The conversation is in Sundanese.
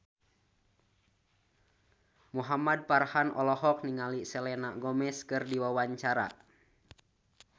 Muhamad Farhan olohok ningali Selena Gomez keur diwawancara